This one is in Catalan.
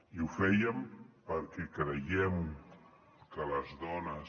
i ho fèiem perquè creiem que les dones